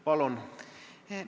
Palun!